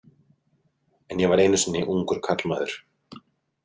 En ég var einu sinni ungur karlmaður.